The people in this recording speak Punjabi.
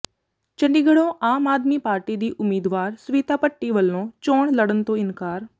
ਚੰਡੀਗੜ੍ਹੋਂ ਆਮ ਆਦਮੀ ਪਾਰਟੀ ਦੀ ਉਮੀਦਵਾਰ ਸਵਿਤਾ ਭੱਟੀ ਵੱਲੋਂ ਚੋਣ ਲੜਨ ਤੋਂ ਇਨਕਾਰ